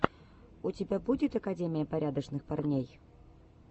у тебя будет академия порядочных парней